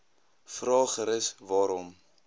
vra gerus waarom